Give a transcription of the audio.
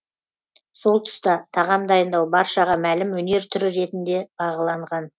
сол тұста тағам дайындау баршаға мәлім өнер түрі ретінде бағаланған